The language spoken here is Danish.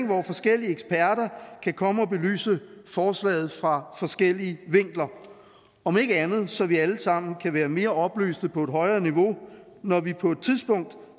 hvor forskellige eksperter kan komme og belyse forslaget fra forskellige vinkler om ikke andet så vi alle sammen kan være mere oplyste på et højere niveau når vi på et tidspunkt